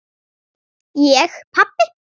Ég pabbi!